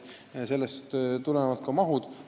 Sellest tulenevad vajalikud mahud.